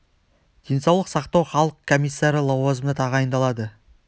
денсаулық сақтау халық комиссары лауазымына тағайындалады